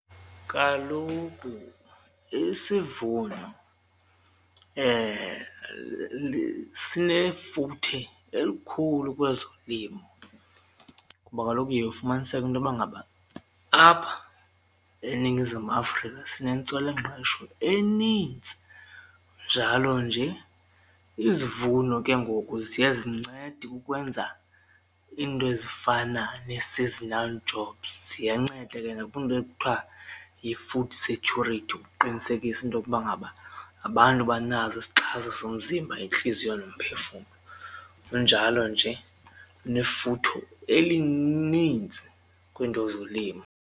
Kaloku isivuno sinefuthe elikhulu kwezolimo ngoba kaloku uye ufumaniseke intoba ngaba apha eNingizimu Afrika sinentswela ngqesho enintsi kunjalo nje izivuno ke ngoku ziye zincede ukwenza iinto ezifana nee-seasonal jobs ziyanceda ke nakwiinto ekuthiwa yi-food security ukuqinisekisa intokuba ngaba abantu banaso isixhasa somzimba yentliziyo nomphefumlo kunjalo nje nefutho elinintsi kwiinto zolimo.